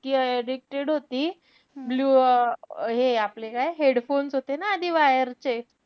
इतकी addicted होती. blue um हे आपले काय headphones होते ना आधी wire चे.